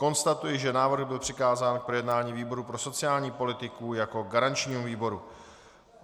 Konstatuji, že návrh byl přikázán k projednání výboru pro sociální politiku jako garančnímu výboru.